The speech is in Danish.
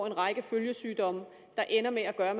en række følgesygdomme der ender med at gøre at